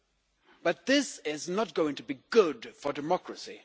them, but this is not going to be good for democracy.